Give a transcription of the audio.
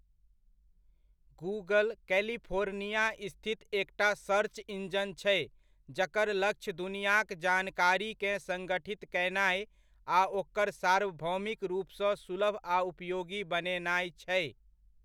Google, California स्थित एकटा search engine छै जकर लक्ष्य दुनियाक जानकारीकेँ संगठित कयनाय आ ओकरा सार्वभौमिक रूपसँ सुलभ आ उपयोगी बनेनाय छै।